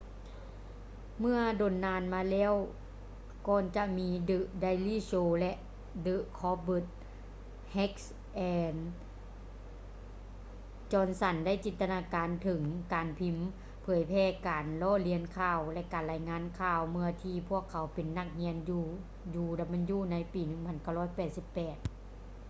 ເມື່ອດົນນານມາແລ້ວກ່ອນຈະມີ the daily show ແລະ the colbert heck ແລະ johnson ໄດ້ຈິນຕະນາການເຖິງການພິມເຜີຍແຜ່ການລໍ້ລຽນຂ່າວ ແລະ ການລາຍງານຂ່າວ ເມື່ອທີ່ພວກເຂົາເປັນນັກຮຽນຢູ່ uw ໃນປີ 1988